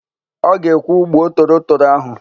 Ọ ga-ekwu, "gbuo torotoro áhụ̀"!